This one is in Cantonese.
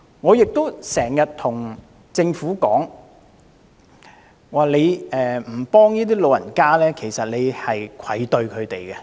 我經常對政府說，如果不幫助老人家，其實是愧對他們的。